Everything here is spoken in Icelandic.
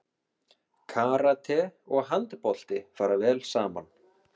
Karate og handbolti fara vel saman